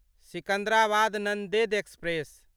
Secunderabad Nanded express